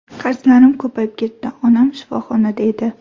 Qarzlarim ko‘payib ketdi, onam shifoxonada edi.